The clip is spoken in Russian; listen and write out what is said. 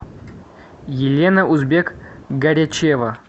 елена узбек горячева